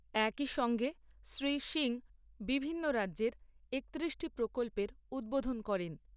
একই সঙ্গে শ্রী সিং বিভিন্ন রাজ্যের একতিরিশটি প্রকল্পের উদ্বোধন করেন।